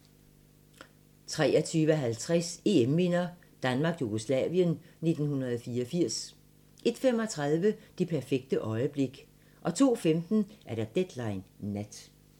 23:50: EM-minder: Danmark-Jugoslavien 1984 01:35: Det perfekte øjeblik 02:25: Deadline Nat